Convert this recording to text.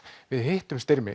við hittum Styrmi